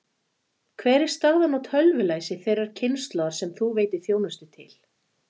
Hver er staðan á tölvulæsi þeirrar kynslóðar sem þú veitir þjónustu til?